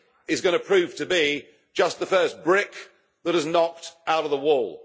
is going to prove to be just the first brick that is knocked out of the wall.